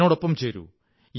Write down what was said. എന്നോടൊപ്പം ചേരൂ